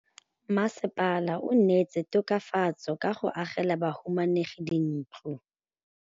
Mmasepala o neetse tokafatsô ka go agela bahumanegi dintlo.